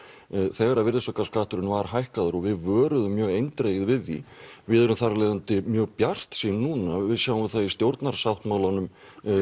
þegar virðisaukaskatturinn var hækkaður og við vöruðum mjög eindregið við því við erum þar af leiðandi mjög bjartsýn núna og við sjáum það í stjórnarsáttmálanum